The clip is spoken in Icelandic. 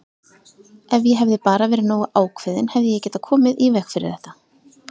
Ef ég hefði bara verið nógu ákveðinn hefði ég getað komið í veg fyrir þetta!